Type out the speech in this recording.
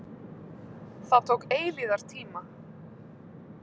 Það tók eilífðartíma.